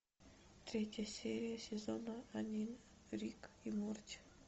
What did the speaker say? третья серия сезона один рик и морти